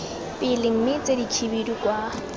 pele mme tse dikhibidu kwa